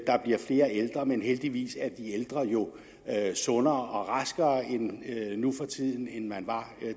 der bliver flere ældre men heldigvis er de ældre jo sundere og raskere nu for tiden end man var